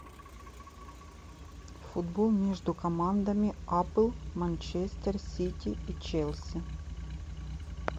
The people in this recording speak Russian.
футбол между командами апл манчестер сити и челси